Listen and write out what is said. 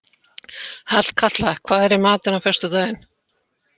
Hallkatla, hvað er í matinn á föstudaginn?